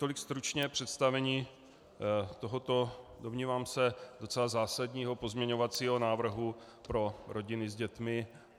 Tolik stručně představení tohoto, domnívám se, docela zásadního pozměňovacího návrhu pro rodiny s dětmi.